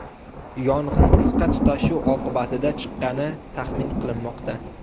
Yong‘in qisqa tutashuv oqibatida chiqqani taxmin qilinmoqda.